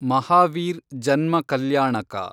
ಮಹಾವೀರ್ ಜನ್ಮ ಕಲ್ಯಾಣಕ